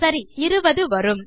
சரி 20 வரும்